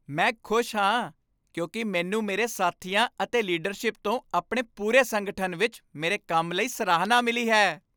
ਮੈਂ ਖੁਸ਼ ਹਾਂ ਕਿਉਂਕਿ ਮੈਨੂੰ ਮੇਰੇ ਸਾਥੀਆਂ ਅਤੇ ਲੀਡਰਸ਼ਿਪ ਤੋਂ ਆਪਣੇ ਪੂਰੇ ਸੰਗਠਨ ਵਿੱਚ ਮੇਰੇ ਕੰਮ ਲਈ ਸਰਾਹਨਾ ਮਿਲੀ ਹੈ।